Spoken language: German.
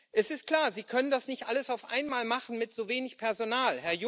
Es ist klar Sie können das nicht alles auf einmal machen mit so wenig Personal.